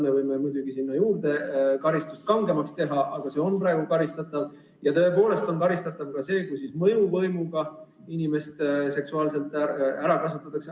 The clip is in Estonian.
Me võime muidugi karistust kangemaks teha, aga see on juba praegu karistatav, ja tõepoolest on karistatav ka see, kui mõjuvõimu abil inimest seksuaalselt ära kasutatakse.